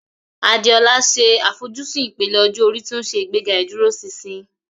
Adeola ṣe àfojúsùn ìpele ọjọ́ orí tí ó ń ṣe ìgbéga ìdúróṣinṣin.